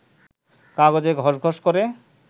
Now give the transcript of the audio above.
কাগজে ঘসঘস করে